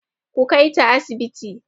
Ku kaita asibiti!